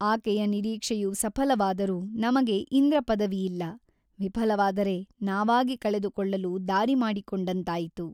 ಆಕೆಯ ನಿರೀಕ್ಷೆಯು ಸಫಲವಾದರೂ ನಮಗೆ ಇಂದ್ರಪದವಿಯಿಲ್ಲ ವಿಫಲವಾದರೆ ನಾವಾಗಿ ಕಳೆದುಕೊಳ್ಳಲು ದಾರಿ ಮಾಡಿಕೊಂಡಂತಾಯಿತು.